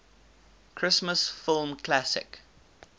christmas film classic